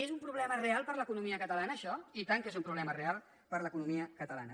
és un problema real per a l’economia catalana això i tant que és un problema real per a l’economia catalana